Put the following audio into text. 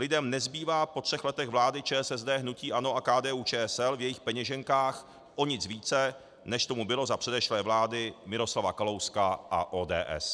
Lidem nezbývá po třech letech vlády ČSSD, hnutí ANO a KDU-ČSL v jejich peněženkách o nic více, než tomu bylo za předešlé vlády Miroslava Kalouska a ODS.